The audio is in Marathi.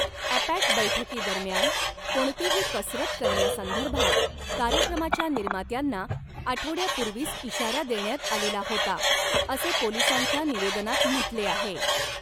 ॲपॅक बैठकीदरम्यान कोणतीही कसरत करण्यासंदर्भात कार्यक्रमाच्या निर्मात्यांना आठवड्यापूर्वीच इशारा देण्यात आलेला होता, असे पोलिसांच्या निवेदनात म्हटले आहे.